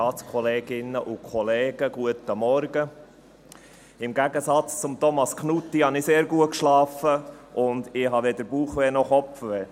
Im Gegensatz zu Thomas Knutti habe ich sehr gut geschlafen und habe weder Bauchschmerzen noch Kopfschmerzen.